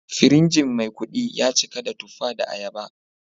Firinji Maikudi ya cika da tuffa da ayaba